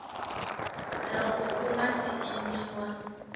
loko ku nga si endliwa